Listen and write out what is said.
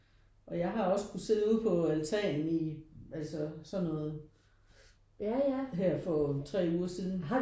Og jeg har også kunne sidde ude på altanen i altså sådan noget her for 3 uger siden